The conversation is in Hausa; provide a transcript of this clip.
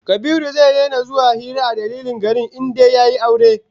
Kabiru zai daina zuwa hira a dandalin garin in dai yayi aure